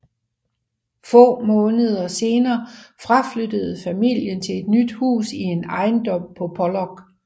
Få måneder senere flyttede familien til et nyt hus i en ejendom på Pollok